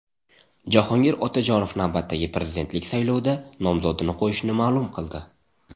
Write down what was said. Jahongir Otajonov navbatdagi prezidentlik saylovida nomzodini qo‘yishini ma’lum qildi .